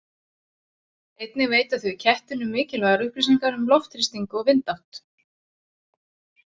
Einnig veita þau kettinum mikilvægar upplýsingar um loftþrýsting og vindátt.